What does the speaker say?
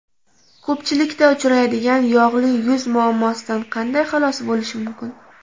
Ko‘pchilikda uchraydigan yog‘li yuz muammosidan qanday xalos bo‘lish mumkin?